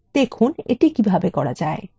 দেখুন এটি কিভাবে করা যায়